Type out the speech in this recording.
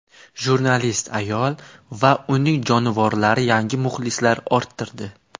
Jurnalist ayol va uning jonivorlari yangi muxlislar orttirdi.